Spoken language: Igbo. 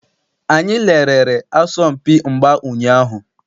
Anyị lerere asọmpi mgba ụnyaahụ.